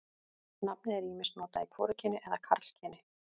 Nafnið er ýmist notað í hvorugkyni eða karlkyni.